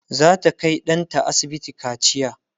zata Kai ɗanta asibiti kaciya